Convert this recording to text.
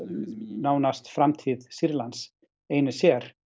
nánast framtíð Sýrlands einir sér